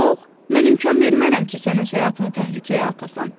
Yox, mən imkan vermərəm ki, sən öz həyatını təhlükəyə alasan!